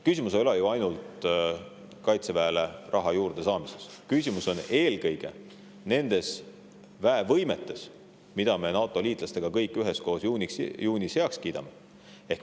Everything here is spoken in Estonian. Küsimus ei ole ju ainult Kaitseväele raha juurde saamises, küsimus on eelkõige nendes väevõimetes, mille me koos NATO-liitlastega juunis heaks kiidame.